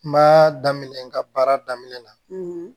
Kuma daminɛ n ka baara daminɛ na